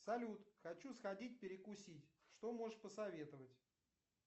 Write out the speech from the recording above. салют хочу сходить перекусить что можешь посоветовать